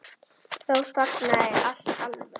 Þá þagnaði allt alveg.